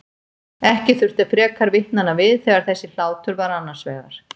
Ekki þurfti frekar vitnanna við þegar þessi hlátur var annars vegar.